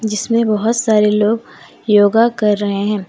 जिसमें बहुत सारे लोग योगा कर रहे हैं।